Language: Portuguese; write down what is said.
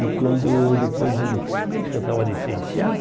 E quando, depois de um mês que eu estava licenciado,